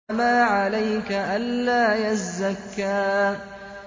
وَمَا عَلَيْكَ أَلَّا يَزَّكَّىٰ